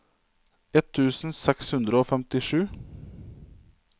ett tusen seks hundre og femtisju